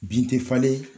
Bin tɛ falen